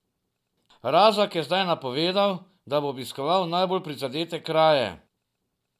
Razak je zdaj napovedal, da bo obiskal najbolj prizadete kraje.